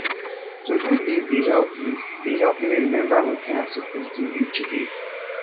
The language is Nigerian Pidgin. todo list dey help list dey help me remember wetin i suppose do each day